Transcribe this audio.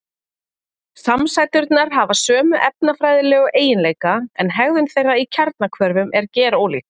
samsæturnar hafa sömu efnafræðilegu eiginleika en hegðun þeirra í kjarnahvörfum er gerólík